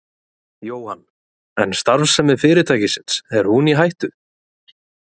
Jóhann: En starfsemi fyrirtækisins, er hún í hættu?